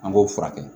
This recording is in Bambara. An b'o furakɛ